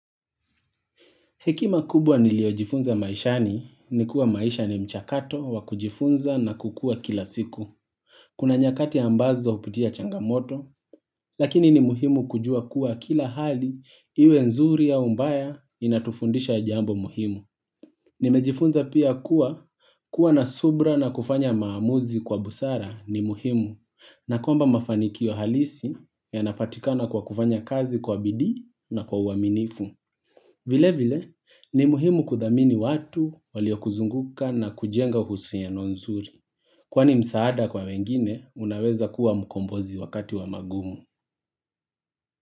Hekima kubwa niliojifunza maishani ni kuwa maisha ni mchakato wakujifunza na kukua kila siku. Kuna nyakati ambazo upitia changamoto, lakini ni muhimu kujua kuwa kila hali iwe nzuri ya mbaya inatufundisha jambo muhimu. Nimejifunza pia kuwa, kuwa na subra na kufanya maamuzi kwa busara ni muhimu, na kwamba mafanikio halisi ya napatikana kwa kufanya kazi kwa bidi na kwa uaminifu. Vile vile, ni muhimu kudhamini watu walio kuzunguka na kujenga husiano nzuri. Kwani msaada kwa wengine, unaweza kuwa mukombozi wakati wa magumu.